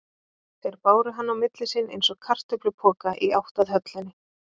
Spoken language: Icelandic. Þeir báru hann á milli sín, eins og kartöflupoka, í átt að höllinni.